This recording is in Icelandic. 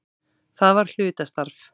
Það var hlutastarf.